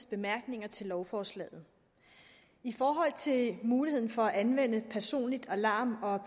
bemærkninger til lovforslaget i forhold til muligheden for at anvende personlige alarm eller